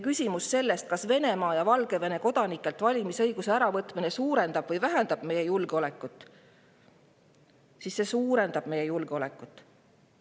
Küsimusele, kas Venemaa ja Valgevene kodanikelt valimisõiguse äravõtmine suurendab või vähendab meie julgeolekut, see suurendab meie julgeolekut.